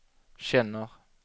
känner